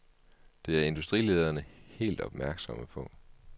Det er industrilederne helt opmærksomme på.